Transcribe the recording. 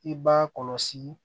I b'a kɔlɔsi